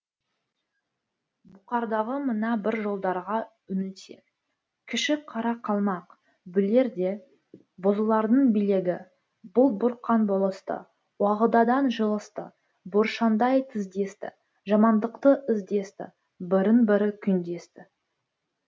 бұқардағы мына бір жолдарға үңілсек кіші қара қалмақ бүлерде бозылардың билігі бұлт бұрқан болысты уағыдадан жылысты буыршындай тіздесті жамандықты іздесті бірін бірі күндесті